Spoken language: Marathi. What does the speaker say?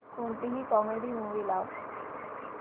कोणतीही कॉमेडी मूवी लाव